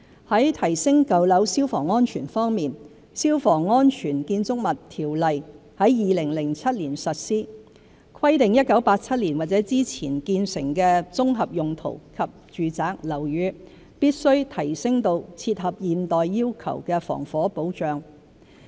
在提升舊樓消防安全方面，《消防安全條例》在2007年實施，規定1987年或之前建成的綜合用途及住宅樓宇，必須提升至切合現代要求的防火保障。